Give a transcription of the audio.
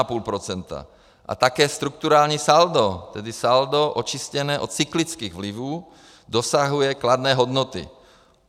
A také strukturální saldo, tedy saldo očištěné od cyklických vlivů, dosahuje kladné hodnoty.